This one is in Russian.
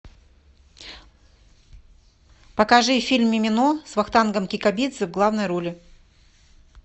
покажи фильм мимино с вахтангом кикабидзе в главной роли